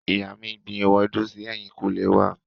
Ìyá mi gbin ewédú si ẹ̀yìnkùlé wá.